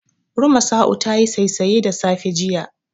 Rumasa'u tayi saisaye da safe, jiya.